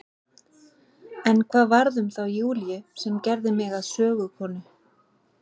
En hvað varð um þá Júlíu sem gerði mig að sögukonu?